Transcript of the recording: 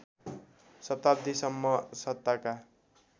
शताब्दीसम्म सत्ताका